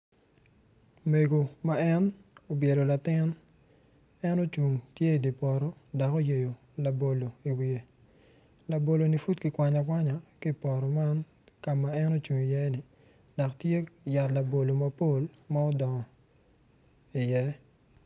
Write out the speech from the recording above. Mego ma en obyelo latin kono odongo mabeco adada pot anyogi man kono tye rangi ma alum alum anyogi miyo itwa cam i yo mapol maclo moko yat labolo mapol ma odongo iye.